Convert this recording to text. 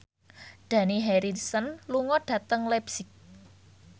Dani Harrison lunga dhateng leipzig